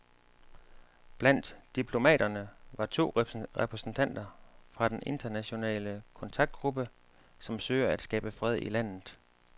Blandt diplomaterne var to repræsentanter fra den internationale kontaktgruppe, som søger at skabe fred i landet.